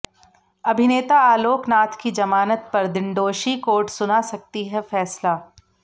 अभिनेता आलोकनाथ की जमानत पर दिंडोशी कोर्ट सुना सकती है फैसला